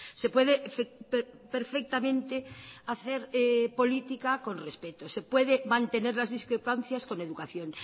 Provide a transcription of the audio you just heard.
se puede perfectamente hacer política con respeto se puede mantener las discrepancias con educación